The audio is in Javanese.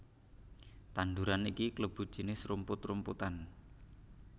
Tanduran iki klebu jinis rumput rumputan